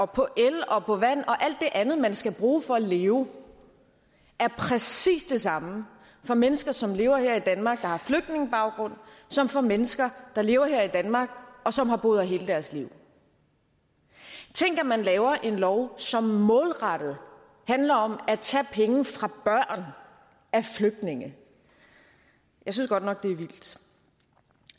på el og vand og alt det andet man skal bruge for at leve er præcis den samme for mennesker som lever her i danmark der har flygtningebaggrund som for mennesker der lever her i danmark og som har boet her hele deres liv tænk at man laver en lov som målrettet handler om at tage penge fra børn af flygtninge jeg synes godt nok det er vildt